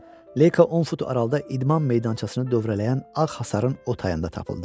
Leyka 10 fut aralıda idman meydançasını dövrələyən ağ hasarın o tayında tapıldı.